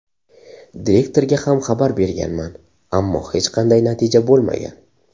Direktorga ham xabar berganman, ammo hech qanday natija bo‘lmagan.